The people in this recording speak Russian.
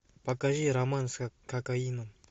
покажи роман с кокаином